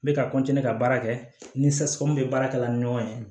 N bɛ ka ka baara kɛ ni bɛ baarakɛla ni ɲɔgɔn cɛ